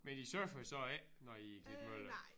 Men I surfer så ikke når I er i Klitmøller